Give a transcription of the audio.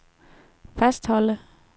fastholde